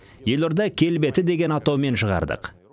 елорда келбеті деген атаумен шығардық